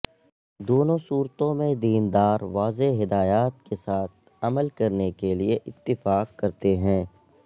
دونوں صورتوں میں دیندار واضح ہدایات کے ساتھ عمل کرنے کے لئے اتفاق کرتے ہیں